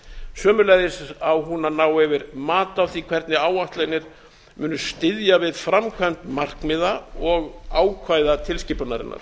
sömuleiðis á hún að ná yfir mat á því hvernig áætlanir munu styðja við framkvæmd markmiða og ákvæða tilskipunarinnar